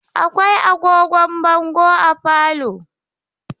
Akwai agogon bongo a falo.